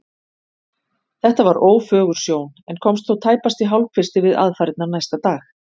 Þetta var ófögur sjón en komst þó tæpast í hálfkvisti við aðfarirnar næsta dag.